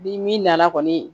Ni min nana kɔni